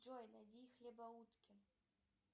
джой найди хлебоутки